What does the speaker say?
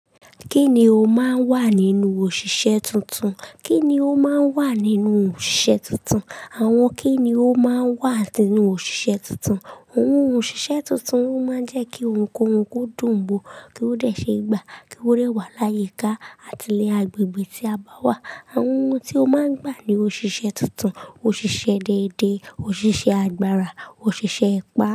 Kíni ó máa ń wà nínú òṣìṣẹ́ tuntun? Kíni ó máa ń wà nínú òṣìṣẹ́ tuntun? Àwọn kíni ó máa ń wà nínú òṣìṣẹ́ tuntun? Àwọn ohun òṣìṣẹ́ tuntun máa ń jẹ́ kí ohunkóhun ko dùn wọ́, kí ó de ṣe gbà, kí ó de wà láyìíká àti ní agbègbè tí a bá wà. Àwọn ohun tí ó máa ń gbà ní òṣìṣẹ́ tuntun, òṣìṣẹ́ déédéé, òṣìṣẹ́ agbára, òṣìṣẹ́ ipá.